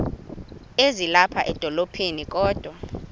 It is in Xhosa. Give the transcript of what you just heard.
ezilapha edolophini kodwa